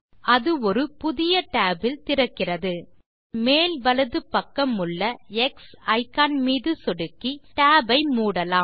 அது ஒரு புது tab இல் திறக்கிறது tab இன் மேல் வலது பக்கமுள்ள எக்ஸ் இக்கான் மீது சொடுக்கி tab ஐ மூடலாம்